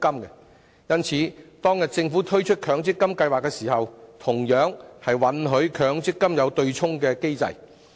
因此，當政府推出強積金計劃時，便同樣允許強積金設有對沖機制。